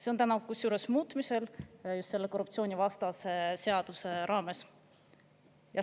See on täna kusjuures muutmisel just selle korruptsioonivastase seaduse raames.